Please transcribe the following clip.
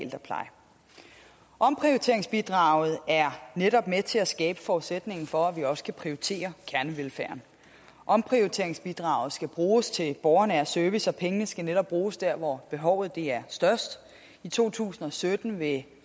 ældrepleje omprioriteringsbidraget er netop med til at skabe forudsætningen for at vi også kan prioritere kernevelfærden omprioriteringsbidraget skal bruges til borgernær service og pengene skal netop bruges der hvor behovet er størst i to tusind og sytten vil